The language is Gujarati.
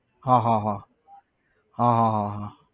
હા હા હા હા હા હા